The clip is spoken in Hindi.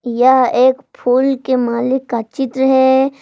यह एक फूल के माली का चित्र है।